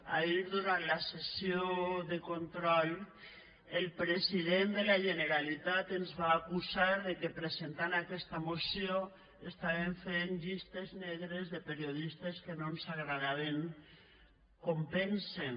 ahir durant la sessió de control el president de la generalitat ens va acusar de que presentant aquesta moció fèiem llistes negres de periodistes que no ens agradaven com pensen